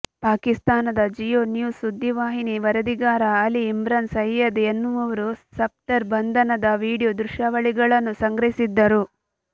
ಪಾಕಿಸ್ತಾನದ Geo News ಸುದ್ದಿವಾಹಿನಿ ವರದಿಗಾರ ಅಲಿ ಇಮ್ರಾನ್ ಸೈಯ್ಯದ್ ಎನ್ನುವವರು ಸಫ್ದರ್ ಬಂಧನದ ವಿಡಿಯೋ ದೃಶ್ಯಾವಳಿಗಳನ್ನು ಸಂಗ್ರಹಿಸಿದ್ದರು